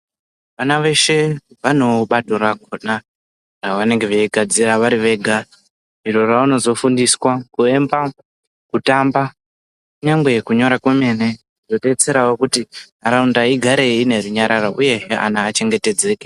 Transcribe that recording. Vana veshe vanebato rakhona ravanonge veigadzira vari vega iro ravanozofundiswa kuemba kutamba nyangwe kunyora kwemene zvobetserawo kuti nharaunda igare inerunyararo uyezve anhu achengetedzeke.